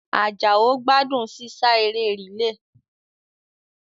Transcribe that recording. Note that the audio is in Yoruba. Àjàó gbádùn sísá eré rìílè